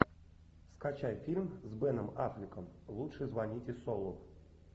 скачай фильм с беном аффлеком лучше звоните солу